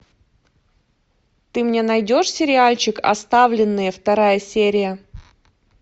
ты мне найдешь сериальчик оставленные вторая серия